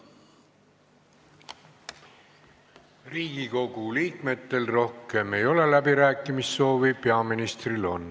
Riigikogu liikmetel rohkem läbirääkimissoovi ei ole, peaministril on.